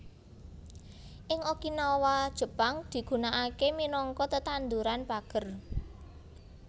Ing Okinawa Jepang digunaaké minangka tetanduran pager